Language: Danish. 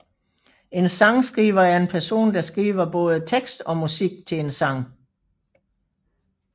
En sangskriver er en person der skriver både tekst og musik til en sang